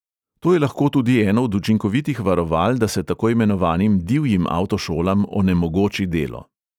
To je lahko tudi eno od učinkovitih varoval, da se tako imenovanim divjim avtošolam onemogoči delo.